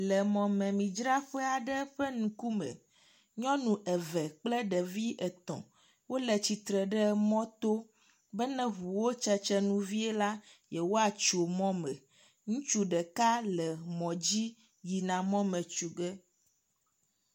Le mɔmemidzraƒa aɖe ƒe ŋkume. Nyɔnu eve kple ɖevi etɔ̃ wo le tsitre ɖe mɔto bena ne ŋuwo tsetsenu vie la yewoatso mɔme. Ŋutsu ɖka le mɔ dzi yina mɔme tso ge.